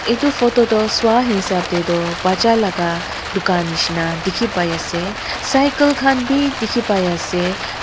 edu photo toh swahisap tae tu bacha laka dukan nishina dikhipaiase cycle khan bi dikhipaiase.